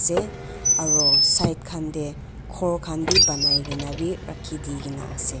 aro side khan tey ghor khan bi banai kena bi rakhidina ase.